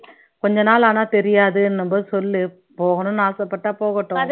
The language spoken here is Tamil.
கொஞ்ச நாள் ஆனா தெரியாதுன்னும் போது சொல்லு போகணும்னு ஆசைப்பட்டா போகட்டும்